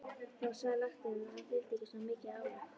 Þá sagði læknirinn að hann þyldi ekki svona mikið álag.